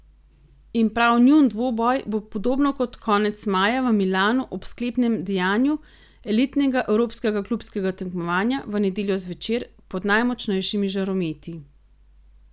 In prav njun dvoboj bo podobno kot konec maja v Milanu ob sklepnem dejanju elitnega evropskega klubskega tekmovanja, v nedeljo zvečer, pod najmočnejšimi žarometi.